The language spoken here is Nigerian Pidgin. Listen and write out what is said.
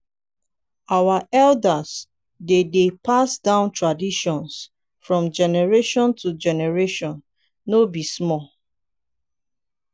our elders dey dey pass down traditions from generation to generation no be small.